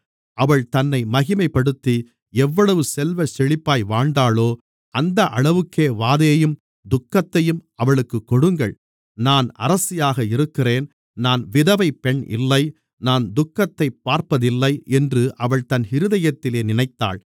அவள் தன்னை மகிமைப்படுத்தி எவ்வளவு செல்வச்செழிப்பாய் வாழ்ந்தாளோ அந்த அளவுக்கே வாதையையும் துக்கத்தையும் அவளுக்குக் கொடுங்கள் நான் அரசியாக இருக்கிறேன் நான் விதவைப் பெண் இல்லை நான் துக்கத்தைப் பார்ப்பதில்லை என்று அவள் தன் இருதயத்திலே நினைத்தாள்